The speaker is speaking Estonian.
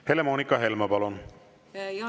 Helle-Moonika Helme, palun!